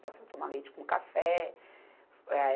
Passou a tomar leite com café. Eh